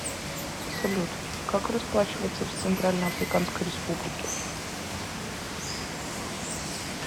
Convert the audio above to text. салют как расплачиваться в центральноафриканской республике